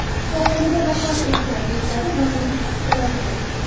shifoxonada vafot etgan”, deyiladi vazirlik axborotida.